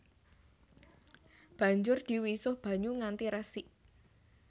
Banjur diwisuh banyu nganti resik